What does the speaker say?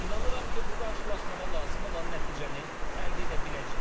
İnanıram ki, bu qarşılaşmada lazım olan nəticəni əldə edə biləcəyik.